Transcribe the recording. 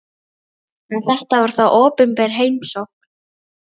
En þetta var þó opinber heimsókn.